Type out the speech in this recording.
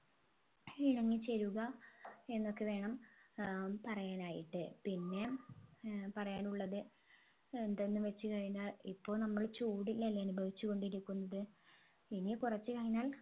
ഇണങ്ങി ചേരുക എന്നൊക്കെ വേണം ഏർ പറയാനായിട്ട് പിന്നെ ഏർ പറയാനുള്ളത് എന്തെന്ന് വെച്ച് കഴിഞ്ഞാൽ ഇപ്പോൾ നമ്മൾ ചൂടിലല്ലേ അനുഭവിച്ച് കൊണ്ടിരിക്കുന്നത് ഇനി കുറച്ച് കഴിഞ്ഞാൽ